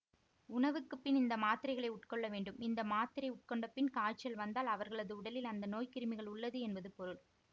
உணவுக்கு பின் இந்த மாத்திரைகளை உட்கொள்ள வேண்டும் இந்த மாத்திரை உட்கொண்டபின் காய்ச்சல் வந்தால் அவர்களது உடலில் அந்த நோய் கிருமிகள் உள்ளது என்பது பொருள்